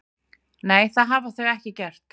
Nei, það hafa þau ekki gert